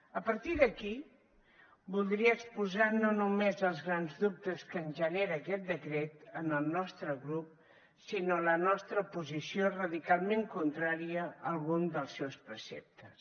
a partir d’aquí voldria exposar no només els grans dubtes que ens genera aquest decret al nostre grup sinó la nostra posició radicalment contrària a algun dels seus preceptes